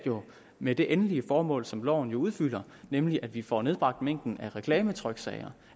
med det endelige formål som loven jo udfylder nemlig at vi får nedbragt mængden af reklametryksager